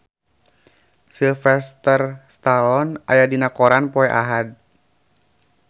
Sylvester Stallone aya dina koran poe Ahad